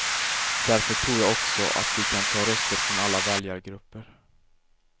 Därför tror jag också att vi kan ta röster från alla väljargrupper.